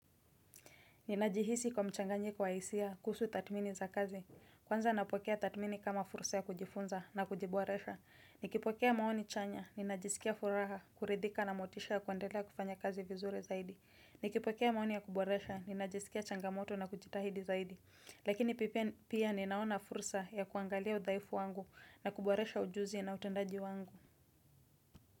Ninajihisi kwa mchanganyiko wa hisia kusu tathmini za kazi. Kwanza napokea tathmini kama fursa ya kujifunza na kujiboresha. Nikipokea maoni chanya, ninajisikia furaha, kuridhika na motisha ya kuendelea kufanya kazi vizuri zaidi. Nikipokea maoni ya kuboresha, ninajisikia changamoto na kujitahidi zaidi. Lakini pia ninaona fursa ya kuangalia udhaifu wangu na kuboresha ujuzi na utendaji wangu.